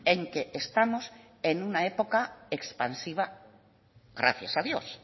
en que estamos en una época expansiva gracias a dios